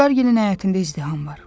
Vüqar Gilin həyətində izdiham var.